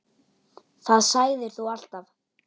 Það sagðir þú alltaf.